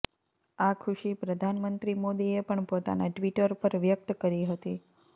આ ખુશી પ્રધાનમંત્રી મોદીએ પણ પોતાના ટ્વિટર પર વ્યક્ત કરી હતી